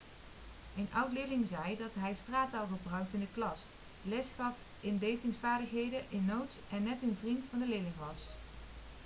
een oud-leerling zei dat hij straattaal gebruikte in de klas lesgaf in datingsvaardigheden in notes en net een vriend van de leerlingen was'